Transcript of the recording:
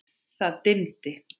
Það dimmdi.